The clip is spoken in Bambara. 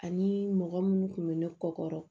Ani mɔgɔ minnu kun bɛ ne kɔ